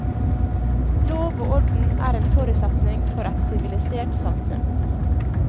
Lov og orden er en forutsetning for et sivilisert samfunn.